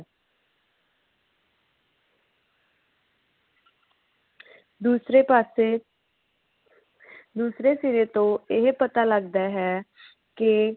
ਦੂਸਰੇ ਪਾਸੇ ਦੂਸਰੇ ਸਿਰੇ ਤੋਂ ਇਹ ਪਤਾ ਲੱਗਦਾ ਹੈ ਕੇ